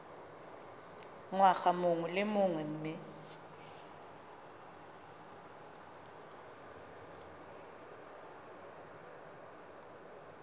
ngwaga mongwe le mongwe mme